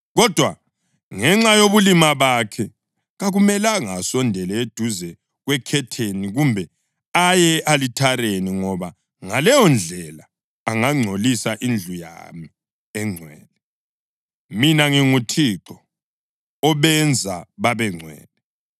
kodwa ngenxa yobulima bakhe kakumelanga asondele eduze kwekhetheni, kumbe aye e-alithareni, ngoba ngaleyondlela angangcolisa indlu yami engcwele. Mina nginguThixo obenza babengcwele.’ ”